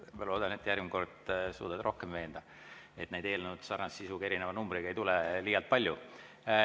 Ma loodan, et järgmine kord sa suudad neid rohkem veenda, et sarnase sisuga, aga erineva numbriga eelnõusid ei tuleks liialt palju.